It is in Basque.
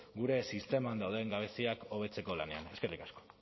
gure sisteman dauden gabeziak hobetzeko lanean eskerrik asko